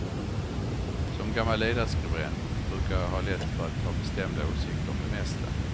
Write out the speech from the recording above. Som gammal ledarskribent brukar jag ha lätt för att ha bestämda åsikter om det mesta.